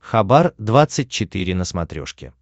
хабар двадцать четыре на смотрешке